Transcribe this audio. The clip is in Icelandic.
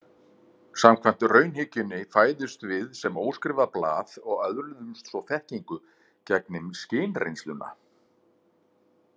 Samkvæmt raunhyggjunni fæðumst við sem óskrifað blað og öðlumst svo þekkingu gegnum skynreynsluna.